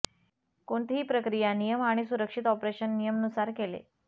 कोणतीही प्रक्रिया नियम आणि सुरक्षित ऑपरेशन नियम नुसार केले